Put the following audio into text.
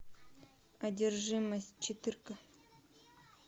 одержимость четыре ка